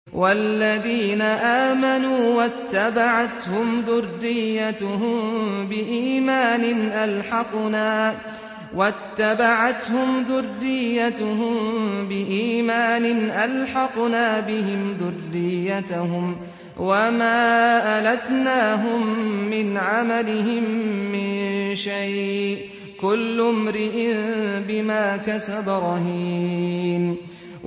وَالَّذِينَ آمَنُوا وَاتَّبَعَتْهُمْ ذُرِّيَّتُهُم بِإِيمَانٍ أَلْحَقْنَا بِهِمْ ذُرِّيَّتَهُمْ وَمَا أَلَتْنَاهُم مِّنْ عَمَلِهِم مِّن شَيْءٍ ۚ كُلُّ امْرِئٍ بِمَا كَسَبَ رَهِينٌ